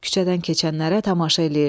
Küçədən keçənlərə tamaşa eləyirdi.